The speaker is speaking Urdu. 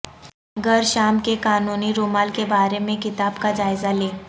گرشام کے قانونی رومال کے بارے میں کتاب کا جائزہ لیں